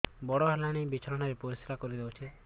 ବଡ଼ ହେଲାଣି ବିଛଣା ରେ ପରିସ୍ରା କରିଦେଉଛି